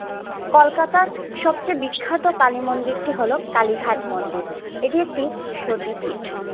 কলকাতার সবচেয়ে বিখ্যাত কালীমন্দিরটি হলো কালী-ঘাট মন্দির। এটি একটি সতী পীঠ।